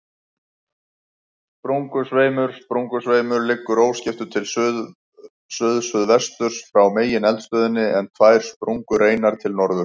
Sprungusveimur Sprungusveimur liggur óskiptur til suðsuðvesturs frá megineldstöðinni, en tvær sprungureinar til norðurs.